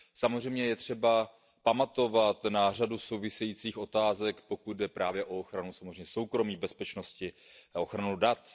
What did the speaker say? Samozřejmě je třeba pamatovat na řadu souvisejících otázek, pokud jde právě o ochranu soukromí, bezpečnosti a ochranu dat.